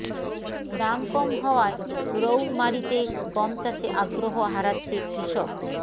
দাম কম হওয়ায় রৌমারীতে গম চাষে আগ্রহ হারাচ্ছে কৃষক